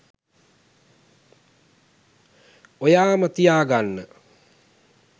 ඔයාම තියාගන්න.